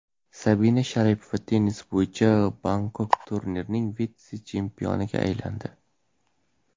Sabina Sharipova tennis bo‘yicha Bangkok turnirining vitse-chempioniga aylandi.